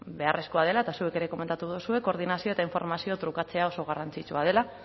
beharrezkoa dela eta zuek ere komentatu duzue koordinazioa eta informazioa trukatzea oso garrantzitsua dela